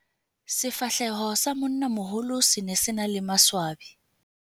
Sefahleho sa monnamoholo se ne se na le maswebe.